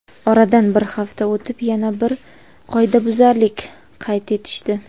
Oradan bir hafta o‘tib yana bir qoidabuzarlik qayd etishdi.